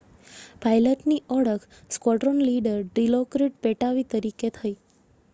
પાઇલટની ઓળખ squadron leader Dilokrit Pattavee તરીકે થઈ